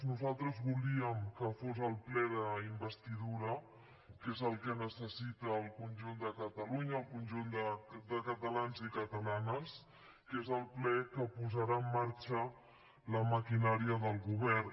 nosaltres volíem que fos el ple d’investidura que és el que necessita el conjunt de catalunya el conjunt de catalans i catalanes que és el ple que posarà en marxa la maquinària del govern